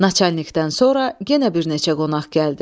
Naçalnikdən sonra yenə bir neçə qonaq gəldi.